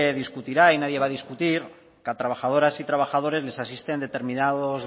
discutirá y nadie va a discutir que a trabajadoras y trabajadores les asisten determinados